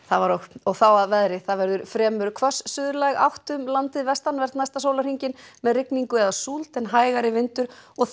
þá að veðri það verður fremur hvöss átt um landið vestanvert næsta sólarhringinn með rigningu eða súld en hægari vindur og þurrt